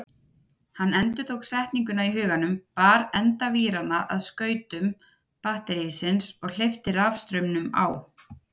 Hann endurtók setninguna í huganum, bar enda víranna að skautum batterísins og hleypti rafstraumnum á.